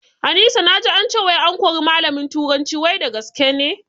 Anisa naji ance wai an kori malamin turanci wai da gaske ne?